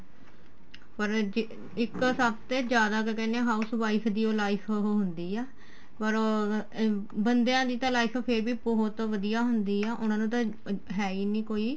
ਪਰ ਜੇ ਇੱਕ ਸਭ ਤੇ ਜਿਆਦਾ ਕਿਆ ਕਹਿਨੇ ਏ house wife ਦੀ ਓ life ਉਹ ਹੁੰਦੀ ਆ ਪਰ ਉਹ ਬੰਦਿਆਂ ਦੀ ਤਾਂ life ਫੇਰ ਵੀ ਬਹੁਤ ਵਧੀਆ ਹੁੰਦੀ ਏ ਉਹਨਾ ਨੂੰ ਤਾਂ ਹੈ ਈ ਨਹੀਂ ਕੋਈ